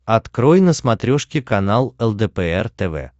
открой на смотрешке канал лдпр тв